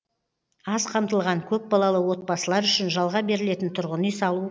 аз қамтылған көпбалалы отбасылар үшін жалға берілетін тұрғын үй салу